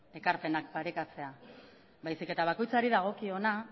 ekarpenak parekatzea baizik eta bakoitzari dagokiona